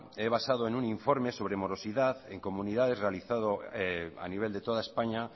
me he basado en un informe sobre morosidad en comunidades realizado a nivel de toda españa